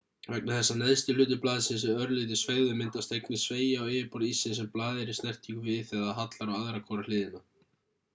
vegna þess að neðsti hluti blaðsins er örlítið sveigður myndast einnig sveigja á yfirborð íssins sem blaðið er í snertingu við þegar það hallar á aðra hvora hliðina